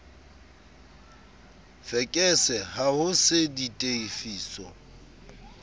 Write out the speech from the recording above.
fekese ha ho se ditefiso